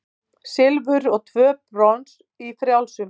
Silfur og tvö brons í frjálsum